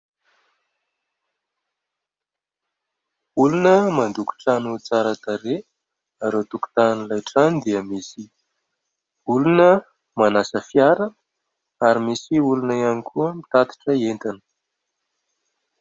Olona mandoko trano tsara tarehy ary eo tokotanin' ilay trano dia misy olona manasa fiara ary misy olona ihany koa mitatitra entana.